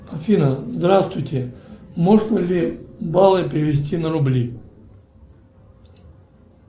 афина здравствуйте можно ли баллы перевести на рубли